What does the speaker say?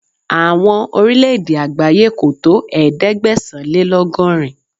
Àwọn Orílẹ̀ẹ̀dè àgbáyé kò tó ẹ̀ẹ́dẹ́gbẹ̀sán-lé-lọ́gọ́rin.